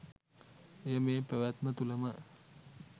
එය මේ පැවැත්ම තුළ ම,